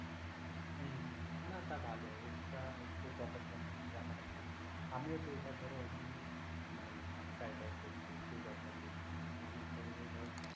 হম হম না তা ভালো, extra একটু pocket money রাখা টা ভালো। আমিও যেটা ধরো মানে try try করছি সেই job টাকে, আমার তো এমনি ধরো